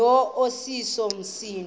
lo iseso msindo